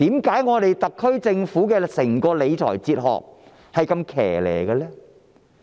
為何特區政府整套理財哲學是如此奇特的呢？